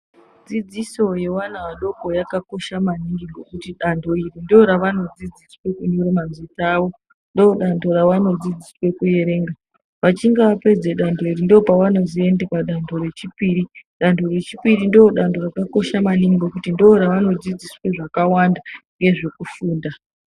Dzidziso yevana vadoko yakakosha maningi ngokuti danho iri ndoravanodzidziswa kunyora mazita avo ndodanho ravanodzidziswa kuerenga. Vachinge vapedze danho iri ndopavanozoende padanho rechipiri danho rechipiri ndodanho rakakosha maningi ngekuti ndoravanodzidziswa zvakawanda ngezvekufunda.